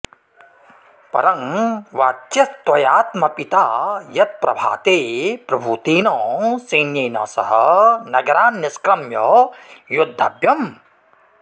परं वाच्यस्त्वयाऽत्मपिता यत्प्रभाते प्रभूतेन सैन्येन सह नगरान्निष्क्रम्य योद्धव्यम्